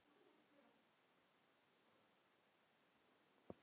Ég leit á skýið.